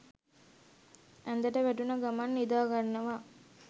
ඇඳට වැටුන ගමන් නිදාගන්නවා